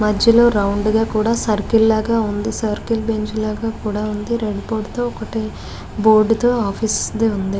మధ్యలో రౌండ్ గ కూడా సర్కిల్ లాగా ఉంది సర్కిల్ బెంచ్ లాగా కూడా ఉంది బోర్డు తో ఆఫీస్ డి ఉంది .